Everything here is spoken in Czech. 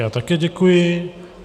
Já také děkuji.